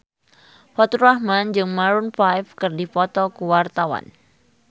Faturrahman jeung Maroon 5 keur dipoto ku wartawan